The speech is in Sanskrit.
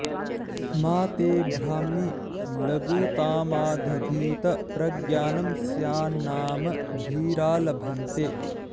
मा ते ब्राह्मी लघुतामादधीत प्रज्ञानं स्यान्नाम धीरा लभन्ते